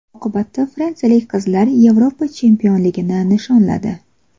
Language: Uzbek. Oqibatda fransiyalik qizlar Yevropa chempionligini nishonladi.